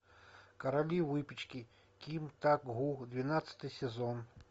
короли выпечки ким так гу двенадцатый сезон